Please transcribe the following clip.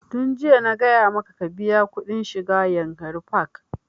Tun jiya na gaya maka ka biya kuɗin shiga yankari park!